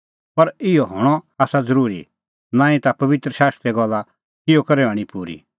पर इहअ हणअ आसा ज़रूरी नांईं ता पबित्र शास्त्रे गल्ला किहअ करै हणीं पूरी